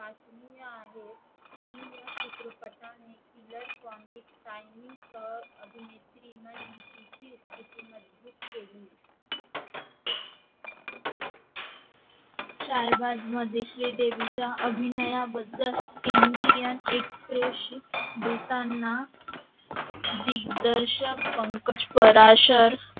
मध्ये श्रीदेवी च्या अभिनया बदल हिन्दी या express बोलताना दिग्दर्शक पंकज कराशर